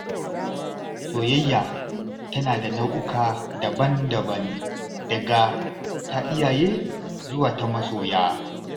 Soyayya tana da nau’uka daban-daban, daga ta iyaye zuwa ta masoya.